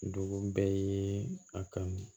Dugu bɛɛ ye a kanu